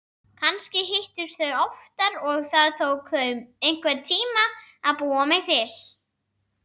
Kannski hittust þau oftar og það tók þau einhvern tíma að búa mig til.